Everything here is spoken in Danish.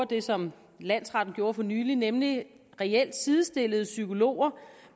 det som landsretten gjorde for nylig nemlig reelt sidestillede psykologer